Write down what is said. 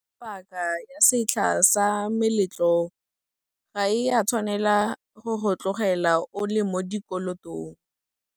Paaka ya setlha sa meletlo ga e a tshwanela go go tlogela o le mo dikolotong.